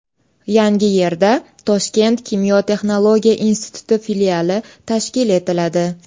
Yangiyerda Toshkent kimyo-texnologiya instituti filiali tashkil etiladi.